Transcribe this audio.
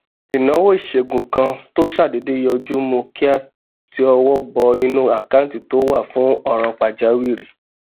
ìnáwó ìṣègùn kan tó ṣàdédé yọjú mú ká ti ọwọ bọ inú àkáǹtì tó wà fún òràn pàjáwìrì